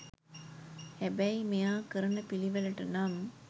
හැබැයි මෙයා කරන පිළිවෙලට නම්